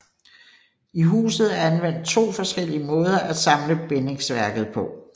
I huset er anvendt to forskellige måder at samle bindingsværket på